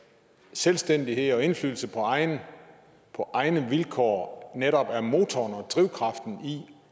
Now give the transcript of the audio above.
selvstændighed og indflydelse på egne på egne vilkår netop er motoren og drivkraften i